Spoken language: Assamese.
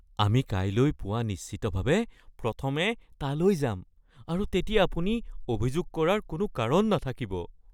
আমি কাইলৈ ​​পুৱা নিশ্চিতভাৱে প্ৰথমে তালৈ যাম আৰু তেতিয়া আপুনি অভিযোগ কৰাৰ কোনো কাৰণ নাথাকিব (সেৱা প্ৰদানকাৰী)